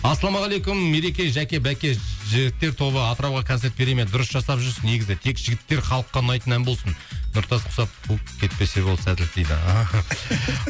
ассалаумағалейкум ереке жәке бәке жігіттер тобы атырауға концерт бере ме дұрыс жасап жүрсіз негізі тек жігіттер халыққа ұнайтын ән болсын нұртас құсап қуып кетпесе болды сәттілік дейді